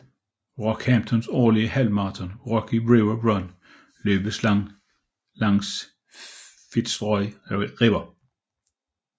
Rockhamptons årlige halvmarathon Rocky River Run løbes langs Fitzroy River